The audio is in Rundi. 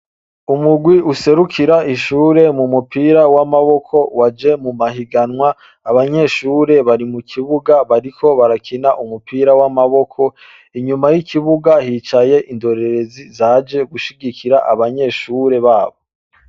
Umurwi userukira ishure mu mupira w'amaboko waje mu mahiganwa, abanyeshure bari mu kibuga bariko barakina umupira w'amaboko, inyuma y'ikibuga hicaye indorerezi zaje gushigikira abanyeshure babo.